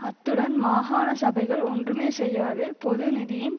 அத்துடன் மாகாண சபைகள் ஒன்றுமே செய்யாது பொது நிதியின்